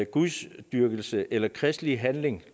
gudsdyrkelse eller kirkelige handlinger